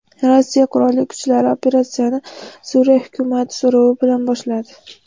Rossiya qurolli kuchlari operatsiyani Suriya hukumati so‘rovi bilan boshladi.